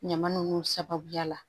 Ɲama nunnu sababuya la